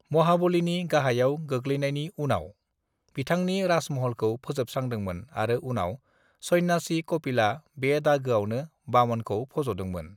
"महाबलीनि गाहायाव गोगलैनायनि उनाव, बिथांनि राजमहलखौ फोजोबस्रांदोंमोन आरो उनाव सन्यासि कपिलआ बे दागोआवनो वामनखौ फजदोंमोन।"